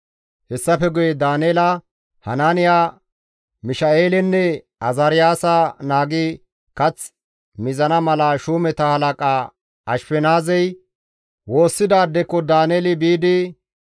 Hessafe guye Daaneela, Hanaaniya, Misha7eelenne Azaariyaasa naagi kath mizana mala shuumeta halaqa Ashfenaazey woossidaadekko Daaneeli biidi,